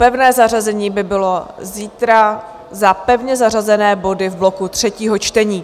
Pevné zařazení by bylo zítra za pevně zařazené body v bloku třetího čtení.